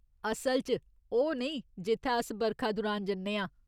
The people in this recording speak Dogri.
असल च, ओह् नेईं जित्थै अस बरखा दुरान जन्ने आं।